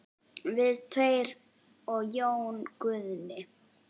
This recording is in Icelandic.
Við tveir og Jón Guðni.